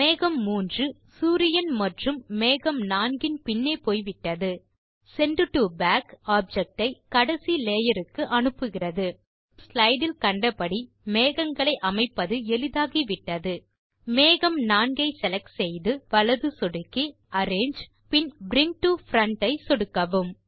மேகம் 3 இப்போது சூரியன் மற்றும் மேகம் 4 இன் பின்னே போய்விட்டது செண்ட் டோ பாக் ஆப்ஜெக்ட் ஐ கடைசி லேயர் க்கு அனுப்புகிறது இப்போது ஸ்லைடு இல் கண்டபடி மேகங்களை அமைப்பது எளிதாகிவிட்டது மேகம் 4 ஐ செலக்ட் செய்து வலது சொடுக்கி அரேஞ்சு பின் பிரிங் டோ பிரண்ட் ஐ சொடுக்கவும்